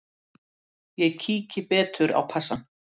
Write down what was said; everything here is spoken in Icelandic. Ég kíki betur á passann.